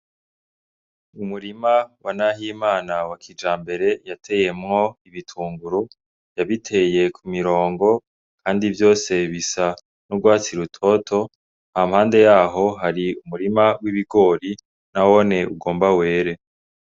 Umurima wa Nahimana wa kijambere yateyemwo ibitunguru, yabiteye ku mirongo ,kandi vyose bisa n'urwatsi rutoto ,hampande yaho hari umurima w'ibigori nawone ugomba were.